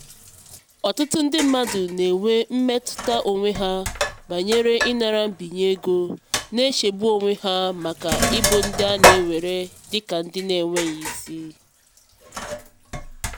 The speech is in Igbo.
ọtụtụ ndị mmadụ na-enwe mmetụta onwe ha banyere ịnara mbinye ego na-echegbu onwe ha maka ịbụ ndị a na-ewere dị ka ndị na-enweghị isi.